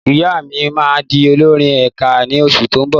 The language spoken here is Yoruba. Ìyá mi máa di olórí ẹ̀ka ní oṣù tó ń bọ̀.